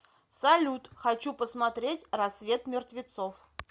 салют хочу посмотреть рассвет мертвецов